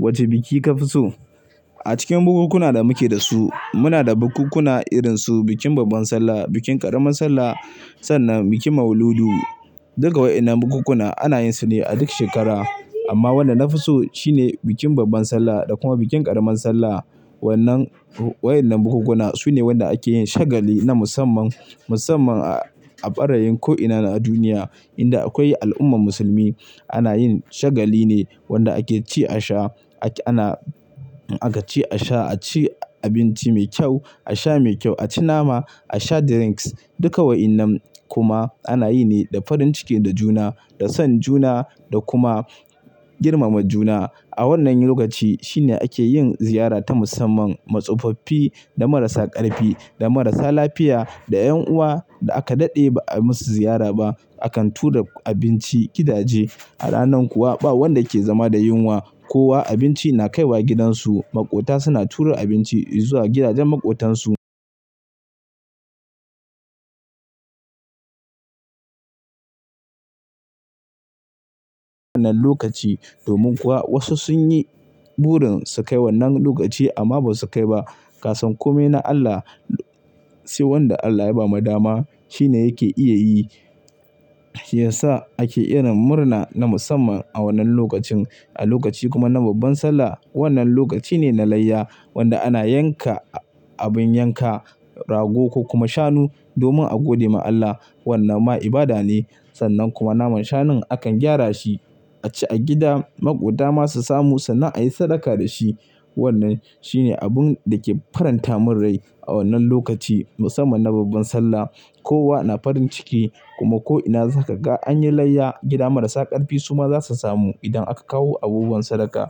Wace biki ka fi so? A cikin bukunkuna da muke da su muna da bukunkuna irinsu bikin Babban Sallah, bikin ƙaramar sallah sannan bikin Mauludu. Duka waɗannan bukunkuna ana yin su ne a duk shekara. Amma wanda na fi so shine bikin Babban Sallah da kuma bikin ƙaramar sallah. Waɗannan bukunkuna su ne waɗanda ake yin shagali na musamman. Musamman a fara yin ko'ina na duniya inda akwai al'ummar musulmi ana yin shagali ne wanda ake ci a sha ana aka ci a sha, a ci abinci mai kyau, a sha mai kyau, a ci nama, a sha drinks duka waɗannan kuma ana yi ne da farin ciki da juna da son juna da kuma girmama juna. A wannan lokaci shine ake yin ziyara ta musamman. Ma tsufaffi da marasa ƙarfi da marasa lafiya da 'yan uwa da aka daɗe ba a musu ziyara ba akan tura abinci gidaje. A ranan kuwa ba wanda ke zama da yunwa kowa abinci na kai wa gidansu. Maƙota suna tura abinci zuwa gidajen maƙotansu. Wannan lokaci domin kuwa wasu sun yi burin su kai wannan lokaci amma basu kai ba. Ka san kome na Allah, sai wanda Allah ya bama dama shine yake iya yi. Shi ya sa ake irin murna na musamman a wannan lokacin. A lokaci kuma na Babban Sallah wannan lokaci ne na layya wanda ana yanka abin yanka rago ko kuma shanu domin a gode ma Allah. Wannan ma ibada ne sannan kuma naman shanun akan gyara shi a ci a gida. Maƙota ma su samu sannan a yi sadaka da shi. Wannnan shi ne abun da ke faranta min rai a wannan lokaci musamman na Babban Sallah. Kowa na farin ciki kuma ko'ina zaka ga an yi layya gida marasa ƙarfi su ma za su samu idan aka kawo abubuwan sadaka.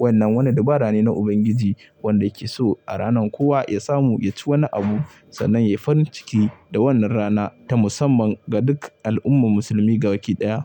Wannan wani dabara ne na Ubangiji wanda yake so a ranan kowa ya samu ya ci wani abu sannan ya yi farin ciki da wannan rana ta musamman ga duk al'ummar musulmi gabaɗaya.